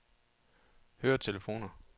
høretelefoner